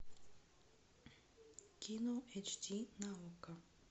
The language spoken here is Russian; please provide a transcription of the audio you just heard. кино эйч ди на окко